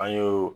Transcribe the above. An y'o